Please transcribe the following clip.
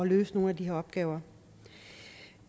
løse nogle af de her opgaver